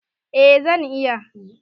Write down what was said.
Eh zan iya.